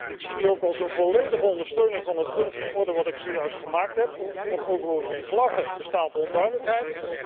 Ik zie die ook als een volledige ondersteuning van het punt van orde dat ik zojuist gemaakt heb, want over die vlaggen bestaat onduidelijkheid.